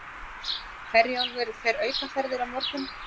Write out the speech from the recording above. Herjólfur fer aukaferðir á morgun